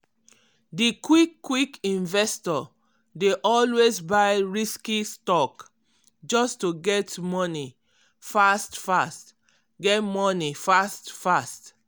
di quick-quick investor dey always buy risky stock just to get money fast-fast. get money fast-fast.